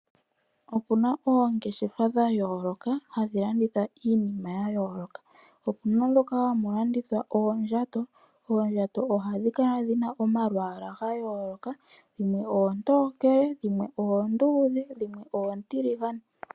Oku na oongeshefa dha yooloka hadhi landitha iinima ya yooloka. Opuna ndhoka hamu landithwa oondjato, oondjato ohadhi kala dhina omalwaala ga yooloka, dhimwe oontokele, dhimwe oonduudhe, dhimwe oontiligane.